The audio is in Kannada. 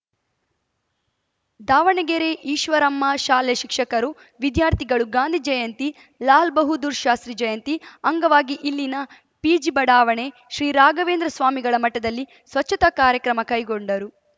ದಾವಣಗೆರೆ ಈಶ್ವರಮ್ಮ ಶಾಲೆ ಶಿಕ್ಷಕರು ವಿದ್ಯಾರ್ಥಿಗಳು ಗಾಂಧೀ ಜಯಂತಿ ಲಾಲ್‌ ಬಹಾದ್ದೂರ್‌ ಶಾಸ್ತ್ರೀ ಜಯಂತಿ ಅಂಗವಾಗಿ ಇಲ್ಲಿನ ಪಿಜಿ ಬಡಾವಣೆ ಶ್ರೀ ರಾಘವೇಂದ್ರ ಸ್ವಾಮಿಗಳ ಮಠದಲ್ಲಿ ಸ್ವಚ್ಛತಾ ಕಾರ್ಯಕ್ರಮ ಕೈಗೊಂಡರು